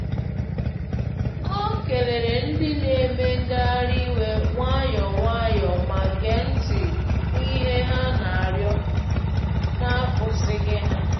Ọ keleere ndị na-eme ngagharị iwe nwayọọ nwayọọ ma gee ntị n’ihe ha na-arịọ na-akwụsịghị ha.